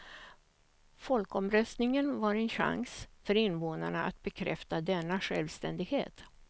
Folkomröstningen var en chans för invånarna att bekräfta denna självständighet.